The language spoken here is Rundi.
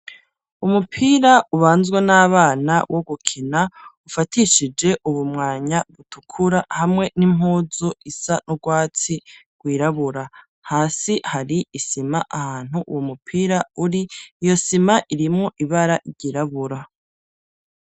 Umupira ubanzwe n'abana wo gukina, ufatishije ubumwanya butukura ,hamwe n'impuzu isa n'ubwatsi, wirabura hasi hari isima ahantu uwo mupira uri, iyo sima irimwo ibara ryirabura.